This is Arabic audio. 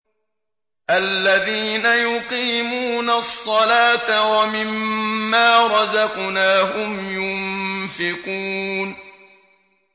الَّذِينَ يُقِيمُونَ الصَّلَاةَ وَمِمَّا رَزَقْنَاهُمْ يُنفِقُونَ